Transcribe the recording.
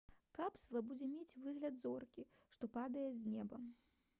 капсула будзе мець выгляд зоркі што падае з неба